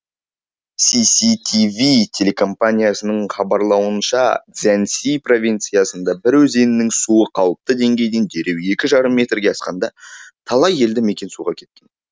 си си ти ви телекомпаниясының хабарлауынша цзянси провинциясында бір өзеннің суы қалыпты деңгейден дереу екі жарым метрге асқанда талай елді мекен суға кеткен